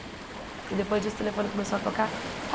Porque depois disso o telefone começou a tocar.